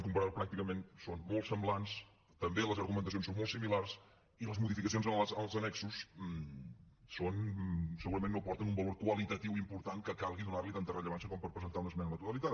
comparant ho pràcticament són molt semblants també les argumentacions són molt similars i les modificacions en els annexos segurament no aporten un valor qualitatiu important que calgui donar hi tanta rellevància com per presentar una esmena a la totalitat